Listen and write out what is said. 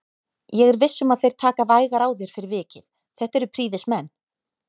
Ég er viss um að þeir taka vægar á þér fyrir vikið, þetta eru prýðismenn